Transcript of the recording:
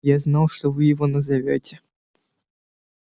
я знал что вы его назовёте